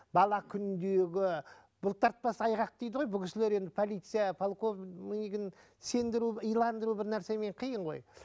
бала күніндегі бұлтартпас айғақ дейді ғой бұл кісілер енді полиция полковнигін сендіру иландыру бір нәрсемен қиын ғой